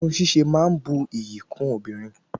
Irun sise ma n bu ìyí kun obìnrin